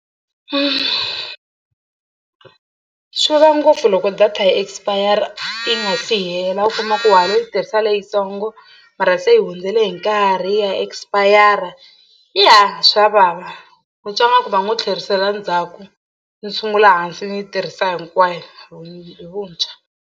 Swi vava ngopfu loko data yi expire yi nga si hela u kuma ku wa ha lo yi tirhisa leyitsongo mara se yi hundzele hi nkarhi ya expire ya swa vava u twa ingaku va ngo tlherisela ndzhaku ni sungula hansi ni yi tirhisa hinkwayo hi hi vuntshwa.